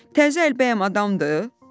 Təzə əl bəyəm adamdır?